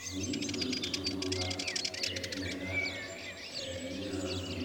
Vūū tontonemo la ba yɛ ennɛ la ŋmenaa vūū